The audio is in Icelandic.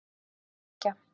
tveggja